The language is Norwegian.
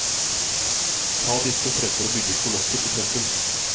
Ta disse fremfor å bygge kolosser i sentrum.